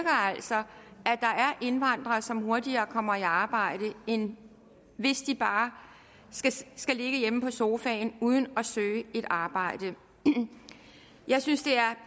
indvandrere som hurtigere kommer i arbejde end hvis de bare skulle ligge hjemme på sofaen uden at søge et arbejde jeg synes det er